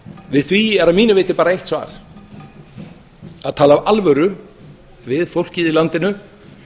við því er að mínu viti bara eitt svar að tala af alvöru við fólkið í landinu